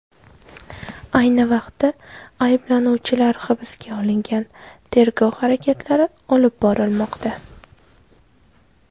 Ayni vaqtda ayblanuvchilar hibsga olingan, tergov harakatlari olib borilmoqda.